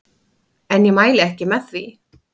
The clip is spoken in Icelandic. En ég mæli ekki með því.